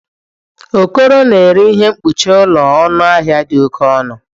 Okoro na-ere ihe mkpuchi ụlọ na ọnụ ahịa dị oke ọnụ